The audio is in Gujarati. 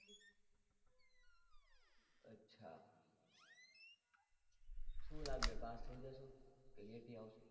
કેવું લાગે pass થઈ જઈસ તું કે aty આવશે